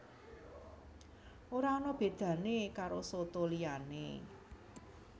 Ora ana bedané karo soto liyané